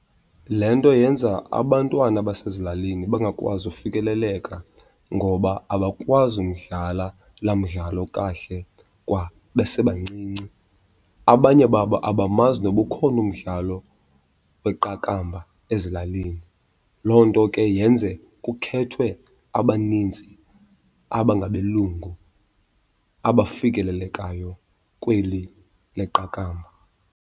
Le nto yenza abantwana basezilalini bangakwazi ufikeleleka ngoba abakwazi umdlala laa mdlalo kahle kwa besebancinci. Abanye babo abamazi noba ukhona umdlalo weqakamba ezilalini, loo nto ke yenze kukhethwe abanintsi abangabelungu abafikelelekayo kweli leqakamba.